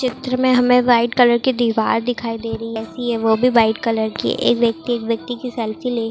चित्र में हमें व्हाइट कलर की दीवार दिखाई दे रही है इसके ऊपर ए.सी. है वह भी व्हाइट कलर की है एक व्यक्ति एक व्यक्ति की सेल्फी ले--